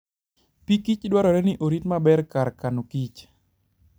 Pikich dwarore ni orit maber kar kanokich.